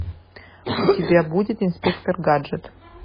у тебя будет инспектор гаджет